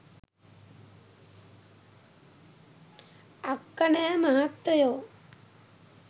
අක්කනෑ මහත්තයෝ